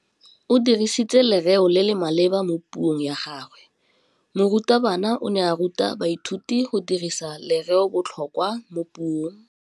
O dirisitse lerêo le le maleba mo puông ya gagwe. Morutabana o ne a ruta baithuti go dirisa lêrêôbotlhôkwa mo puong.